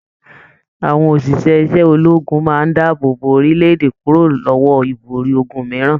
Àwọn òṣìṣẹ́ ṣẹ ológun máa n dáàbò bò orílẹ̀-èdè kúrò lọwọ ibori ogún mìíràn.